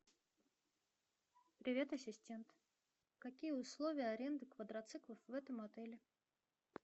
привет ассистент какие условия аренды квадроциклов в этом отеле